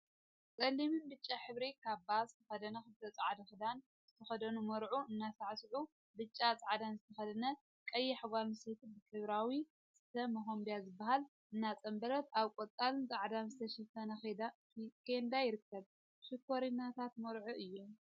ፀሊምን ብጫን ሕብሪ ካባ ዝተከደኑ ክልተ ፃዕዳ ክዳን ዝተከደኑ መርዑ እናሳዕስዑሓንቲ ብጫን ፃዕዳን ዝተከደነት ቀያሕ ጓል አንስተይቲ ብሕብራዊ ስፈ መከምቢያ ዝብሃል እናፀምበለት አብ ቆፃልን ፃዕዳን ዝተሸፈነ ኬንዳ ይርከቡ፡፡ ሽኮሪናታት መርዑ እዮም፡፡